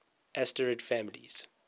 asterid families